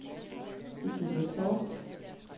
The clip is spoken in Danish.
Cecilie Torp